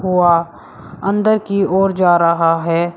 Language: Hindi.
वह अंदर की ओर जा रहा है।